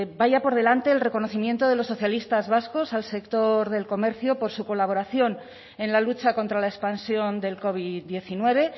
vaya por delante el reconocimiento de los socialistas vascos al sector del comercio por su colaboración en la lucha contra la expansión del covid diecinueve